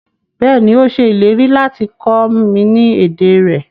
Bẹ́ẹ̀ni, o ṣẹ ilẹ̀rí lati kọ mi ni èdè rẹ